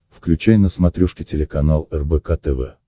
включай на смотрешке телеканал рбк тв